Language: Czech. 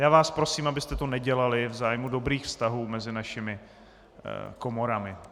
Já vás prosím, abyste to nedělali v zájmu dobrých vztahů mezi našimi komorami.